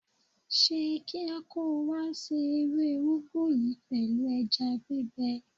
Ṣe kíá kó o wá se ewé úgú yìí pẹ̀lú ẹja gbígbẹ.